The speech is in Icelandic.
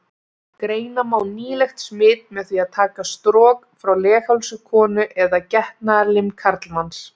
Greina má nýlegt smit með því að taka strok frá leghálsi konu eða getnaðarlim karlmanns.